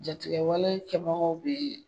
Jatigɛ wale kɛbagaw kun ye